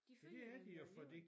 De følte jo at de havde gjort